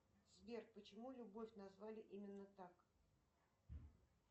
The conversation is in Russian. сбер почему любовь назвали именно так